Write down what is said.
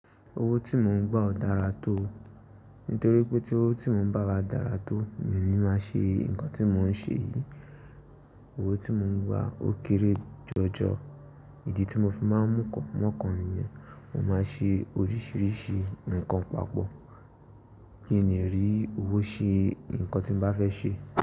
Owó tí mò ń gbà o dára tó. Nítorí pé owó tí mò ń gbà dára tó, mi ò ní má ṣe nǹkan tí mò ń ṣe yìí. Owó tí mò ń gbà ó kéré jọjọ. Ìdí tí mo fi má ń mú kàn mọ̀kàn nìyẹn. Mo máa ṣe oríṣìíríṣìí nǹkan papọ̀ kí èmi lè rí owó ṣe nǹkan tí mo bá fẹ́ ṣe.